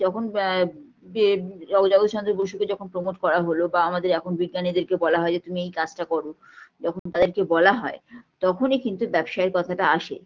যখন আ আ জগ জগদীশ চন্দ্র বসুকে যখন promote করা হলো বা আমাদের এখন বিজ্ঞানীদেরকে বলা হয় যে তুমি এই কাজটা করো যখন তাদেরকে বলা হয় তখনই কিন্তু ব্যবসায়ীর কথাটা আসে